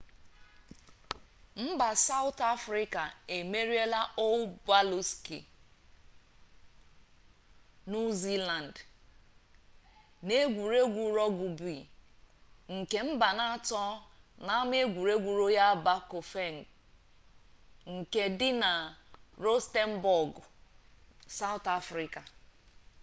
mba sawụtụ afrịka emeriela ọl bụlaksị nuu ziilandị n'egwuregwu rọgụbi nke mbanaatọ n'ama egwuregwu royal bafokeng nke dị na rọstenbọgụ sawụtụ afrịka